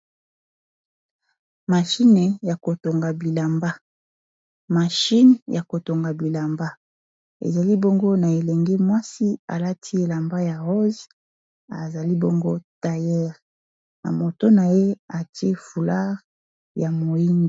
machine ya kotonga bilamba mashine ya kotonga bilamba ezali bongo na elenge mwasi alati elamba ya rosse azali bongo tailleure na moto na ye atie foulard ya moyindu